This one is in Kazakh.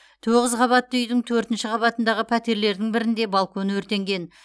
тоғыз қабатты үйдің төртінші қабатындағы пәтерлердің бірінде балкон өртенген